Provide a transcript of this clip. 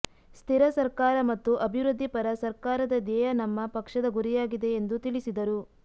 ಸ್ಥಿರ ಸರ್ಕಾರ ಮತ್ತು ಅಭಿವೃದ್ಧಿ ಪರ ಸರ್ಕಾರದ ಧ್ಯೇಯ ನಮ್ಮ ಪಕ್ಷದ ಗುರಿಯಾಗಿದೆ ಎಂದು ತಿಳಿಸಿದರು